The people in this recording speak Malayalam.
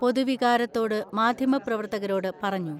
പൊതുവികാരത്തോട് മാധ്യമപ്രവർത്തകരോട് പറഞ്ഞു.